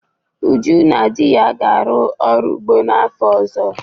Uju na di ya ga-arụ ọrụ ụgbo n'afọ ọzọ.